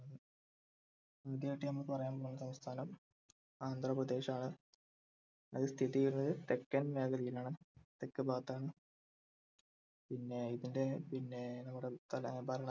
ഉം ആദ്യായിട്ട് നമ്മ പറയാൻ പോകുന്ന സംസ്ഥാനം ആന്ധ്രാപ്രദേശ് ആണ് അത് സ്ഥിതിചെയ്യുന്നത് തെക്കൻ മേഖലയിൽ ആണ് തെക്ക് ഭാഗത്താണ് പിന്നെ ഇതിൻ്റെ പിന്നെനമ്മുടെ